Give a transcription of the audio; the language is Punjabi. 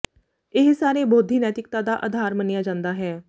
ਇਹ ਸਾਰੇ ਬੋਧੀ ਨੈਤਿਕਤਾ ਦਾ ਆਧਾਰ ਮੰਨਿਆ ਜਾਂਦਾ ਹੈ